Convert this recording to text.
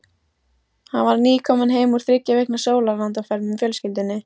Hann var nýkominn heim úr þriggja vikna sólarlandaferð með fjölskyldunni.